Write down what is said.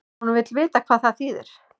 Hún vill vita hvað það þýðir.